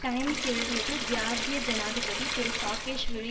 times எழுதியது ஜியார்ஜிய ஜனாதிபதி திரு சாகேஷ்விலி